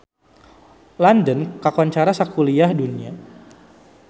London kakoncara sakuliah dunya